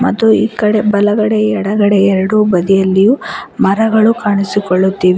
ಮತ್ತು ಈ ಕಡೆ ಬಲಗಡೆ ಎಡಗಡೆ ಎರಡು ಬದಿಯಲ್ಲಿಯೂ ಮರಗಳು ಕಾಣಿಸಿಕೊಳ್ಳುತ್ತಿವೆ.